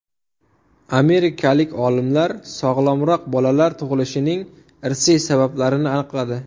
Amerikalik olimlar sog‘lomroq bolalar tug‘ilishining irsiy sabablarini aniqladi.